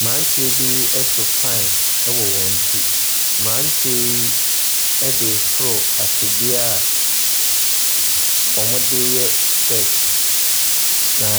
Mmeranteɛ bi so pan wɔ wɔn ti. Mmeranteɛ yi de reforo atwedeɛ a wɔde yɛ steps, na